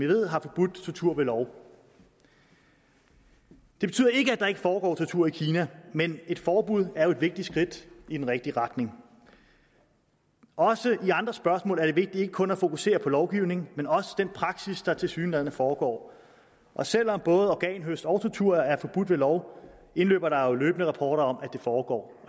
ved har forbudt tortur ved lov det betyder ikke at der ikke foregår tortur i kina men et forbud er jo et vigtigt skridt i den rigtige retning også i andre spørgsmål er det vigtigt ikke kun at fokusere på lovgivning men også på den praksis der tilsyneladende foregår og selv om både organhøst og tortur er forbudt ved lov indløber der jo løbende rapporter om at det foregår